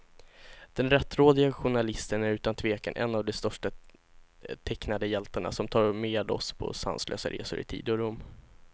Den rättrådige journalisten är utan tvekan en av de största tecknade hjältarna, som tar med oss på sanslösa resor i tid och rum.